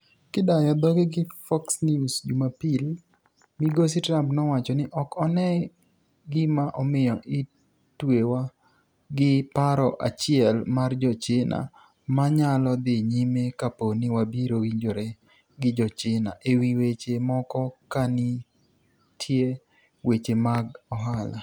Kidayo dhoge gi Fox News, Jumapil, migosi Trump nowacho ni: "Ok ane gima omiyo itwewa gi paro achiel mar jo China, ma nyalo dhi nyime kapo ni wabiro winjore gi jo China ewi weche moko kanite weche mag ohala."